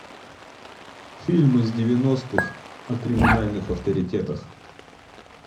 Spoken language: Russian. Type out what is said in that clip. фильм из девяностых о криминальных авторитетах